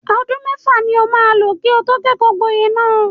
Ọdún mẹ́fà ni o maa lò kí o tó kẹ́kọ̀ọ́-gboyè náà.